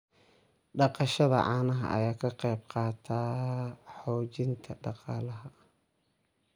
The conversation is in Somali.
Dhaqashada caanaha ayaa ka qayb qaadata xoojinta dhaqaalaha.